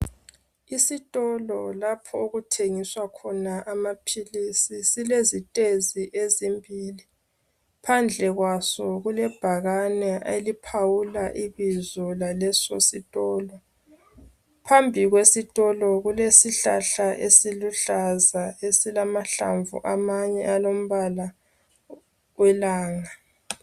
Isitolo lapha okuthengiswa khona amapills silesistairs ezimbili phandle kwaso kulebhakani eliphawula ibizo laleso sitolo phambi kwesitolo kulesihlahla esiluhlaza esilamahlamvu amanye alombala welanga